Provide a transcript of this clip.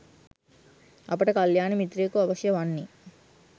අපට කළ්‍යාණ මිත්‍රයෙකු අවශ්‍ය වන්නේ